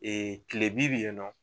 kilebi bi yen nɔ